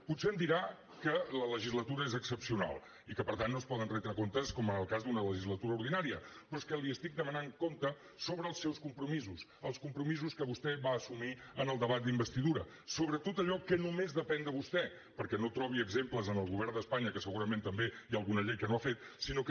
potser em dirà que la legislatura és excepcional i que per tant no es poden retre comptes com en el cas d’una legislatura ordinària però és que li estic demanant comptes sobre els seus compromisos els compromisos que vostè va assumir en el debat d’investidura sobre tot allò que només depèn de vostè perquè no trobi exemples en el govern d’espanya que segurament també hi ha alguna llei que no ha fet sinó que